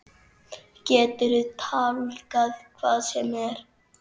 Geturðu tálgað hvað sem er?